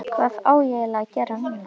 Hvað á ég eiginlega að gera núna???